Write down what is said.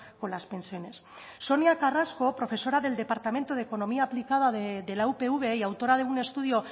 con las pensiones sonia carrasco profesora del departamento de economía aplicada de la upv y autora de un estudio